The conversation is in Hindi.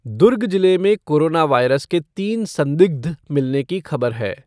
दुर्ग जिले में कोरोना वायरस के तीन संदिग्ध मिलने की खबर है।